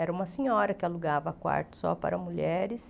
Era uma senhora que alugava quarto só para mulheres.